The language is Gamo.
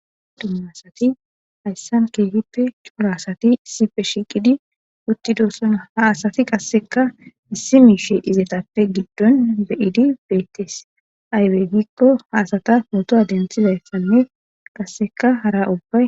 Dumma asati hayssan keefippe cuura asati issipe shiiqidi uttidossona ha asati qasseka issi miishe izatappe giddon beyidi beettes aywey gikko haasata pootoa dentizayssanne qasseka hara ubbay.